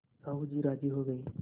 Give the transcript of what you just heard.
साहु जी राजी हो गये